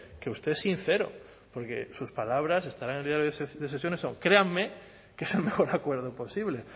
que usted es sincero porque sus palabras estarán en el diario de sesiones o créanme que es el mejor acuerdo posible